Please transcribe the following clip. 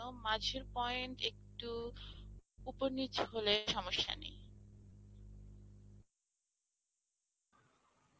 মাঝের point একটু উপর নিচ হলে সমস্যা নেই